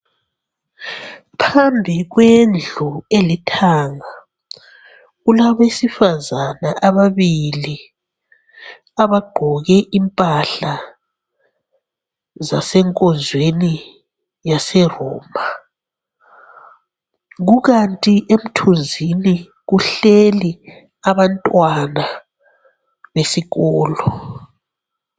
Phambi kwendlu elithanga kulabesifazana ababili abagqoke impahla zasenkozweni yase Roma. Kukanti emthunzini kuhleli abantwana besikolo.